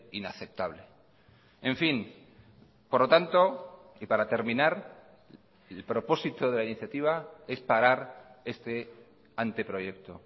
inaceptable en fin por lo tanto y para terminar el propósito de la iniciativa es parar este anteproyecto